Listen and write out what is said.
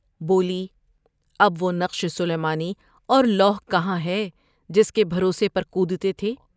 بولی''اب و ہ نقش سلیمانی اور لوح کہاں ہے جس کے بھروسے پر کودتے تھے ۔